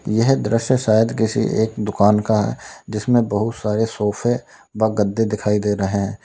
यह दृश्य शायद किसी एक दुकान का जिसमें बहुत सारे सोफे व गद्दे दिखाई दे रहे--